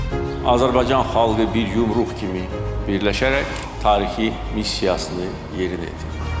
Azərbaycan xalqı bir yumruq kimi birləşərək tarixi missiyasını yerinə yetirdi.